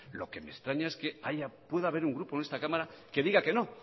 lo que me extraña es que pueda haber un grupo en esta cámara que diga que no